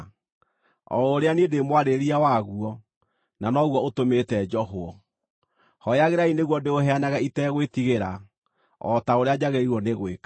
o ũrĩa niĩ ndĩ mwarĩrĩria waguo, na noguo ũtũmĩte njohwo! Hooyagĩrai nĩguo ndĩũheanage itegwĩtigĩra, o ta ũrĩa njagĩrĩirwo nĩ gwĩka.